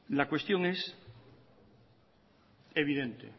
la cuestión es evidente